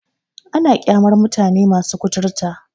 Ana ƙyamar mutane masu kuturta.